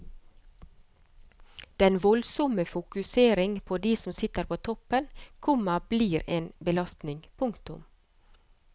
Den voldsomme fokusering på de som sitter på toppen, komma blir en belastning. punktum